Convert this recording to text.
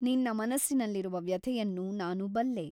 ನಿನ್ನ ಮನಸ್ಸಿನಲ್ಲಿರುವ ವ್ಯಥೆಯನ್ನು ನಾನು ಬಲ್ಲೆ.